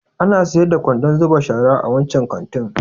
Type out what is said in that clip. Ana sayar da kwandon zuba shara a wancan kantin?